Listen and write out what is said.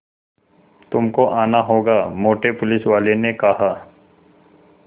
तुमको आना होगा मोटे पुलिसवाले ने कहा